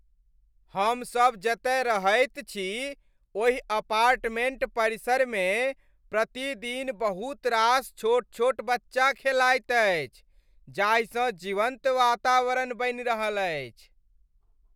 हमसब जतय रहैत छी, ओहि अपार्टमेंट परिसरमे प्रतिदिन बहुत रास छोट छोट बच्चा खेलाइत अछि, जाहिसँ जीवन्त वातावरण बनि रहल अछि।